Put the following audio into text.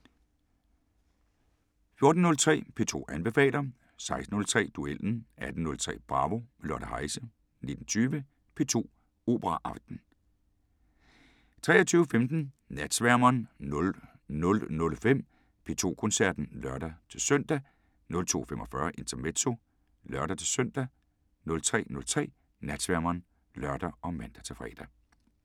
14:03: P2 anbefaler 16:03: Duellen 18:03: Bravo – med Lotte Heise 19:20: P2 Operaaften 23:15: Natsværmeren 00:05: P2 Koncerten (lør-søn) 02:45: Intermezzo (lør-søn) 03:03: Natsværmeren (lør og man-fre)